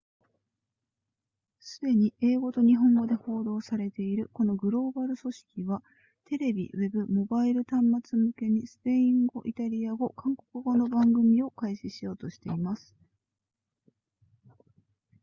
すでに英語と日本語で報道されているこのグローバル組織はテレビウェブモバイル端末向けにスペイン語イタリア語韓国語の番組を開始しようとしています